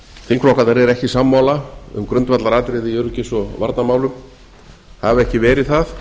þingflokkarnir eru ekki sammála um grundvallaratriði í öryggis og varnarmálum hafa ekki verið það